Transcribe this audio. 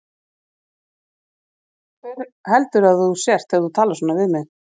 Hver heldurðu að þú sért þegar þú talar svona við mig?